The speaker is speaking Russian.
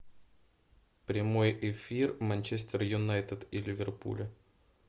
прямой эфир манчестер юнайтед и ливерпуля